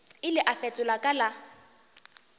ile a fetola ka la